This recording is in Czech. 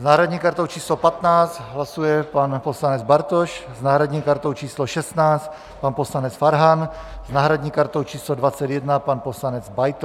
S náhradní kartou číslo 15 hlasuje pan poslanec Bartoš, s náhradní kartou číslo 16 pan poslanec Farhan, s náhradní kartou číslo 21 pan poslanec Beitl.